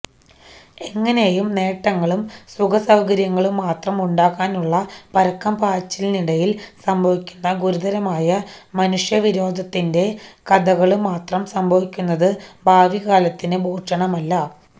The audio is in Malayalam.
എങ്ങനേയും നേട്ടങ്ങളും സുഖസൌകര്യങ്ങളുംമാത്രം ഉണ്ടാക്കാനുള്ള പരക്കംപാച്ചിലിനിടയില് സംഭവിക്കുന്ന ഗുരുതരമായ മനുഷ്യവിരോധത്തിന്റെ കഥകള്മാത്രം സംഭവിക്കുന്നത് ഭാവികാലത്തിനു ഭൂഷണമല്ല